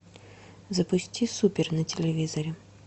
запусти супер на телевизоре